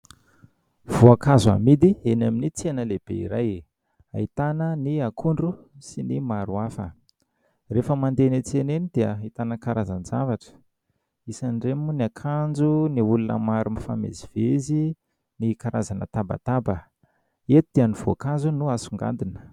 Voankazo amidy eny amin'ny tsena lehibe iray, ahitana ny akondro sy maro hafa... Rehefa mandeha eny an-tsena eny dia ahitana karazan-javatra, isan'ireny moa ny akanjo, ny olona maro mifamezivezy, ny karazana tabataba, eto dia ny voankazo no asongadina.